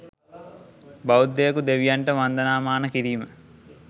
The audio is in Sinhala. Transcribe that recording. බෞද්ධයකු දෙවියන්ට වන්දනාමාන කිරීම